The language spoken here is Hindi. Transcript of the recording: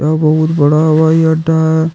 बहुत बड़ा हवाई अड्डा है।